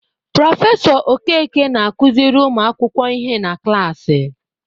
Prọfesọ Okeke na-akụziri ụmu akwụkwọ ihe na klaasị.